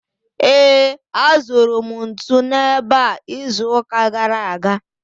Ee, azụrụ m ntu n’ebe a izuụka gara aga.